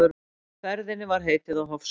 Ferðinni var heitið á Hofsós.